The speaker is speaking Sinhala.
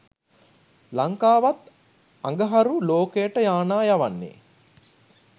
ලංකාවත් අඟහරු ලෝකයට යානා යවන්නේ